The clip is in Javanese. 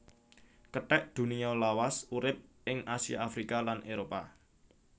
Kethek Dunia lawas urip ing Asia Afrika lan Éropah